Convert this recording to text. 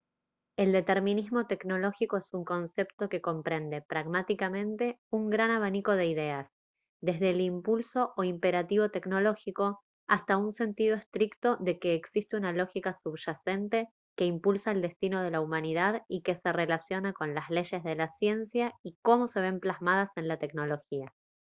el determinismo tecnológico es un concepto que comprende pragmáticamente un gran abanico de ideas desde el impulso o imperativo tecnológico hasta un sentido estricto de que existe una lógica subyacente que impulsa el destino de la humanidad y que se relaciona con las leyes de la ciencia y cómo se ven plasmadas en la tecnología